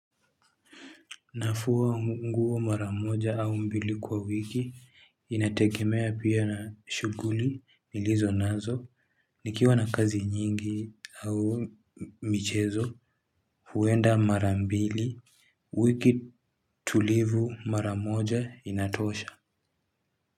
Nafuwa mguo maramoja au mbili kwa wiki, inategemea pia na shuguli nilizo nazo, nikiwa na kazi nyingi au michezo, huenda marambili, wiki tulivu maramoja inatosha.